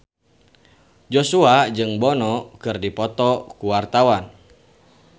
Joshua jeung Bono keur dipoto ku wartawan